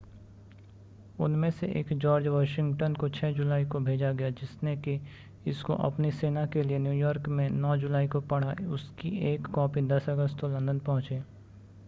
उनमें से एक जॉर्ज वाशिंगटन को 6 जुलाई को भेजा गया जिसने कि इसको अपनी सेना के लिए न्यूयॉर्क में 9 जुलाई को पढ़ा उसकी एक कॉपी 10 अगस्त को लंदन पहुंची